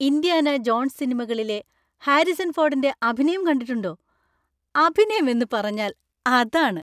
Indiana Jones സിനിമകളിലെ Harrison ഫോർഡിൻ്റെ അഭിനയം കണ്ടിട്ടുണ്ടോ? അഭിനയം എന്ന് പറഞ്ഞാൽ അതാണ്.